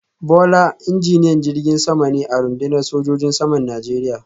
Bola injiniyan jirgin sama ne a rundunar sojojin saman Najeriya